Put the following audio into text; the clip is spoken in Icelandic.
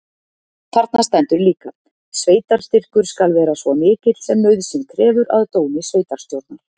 Þarna stendur líka: Sveitarstyrkur skal vera svo mikill sem nauðsyn krefur. að dómi sveitarstjórnar.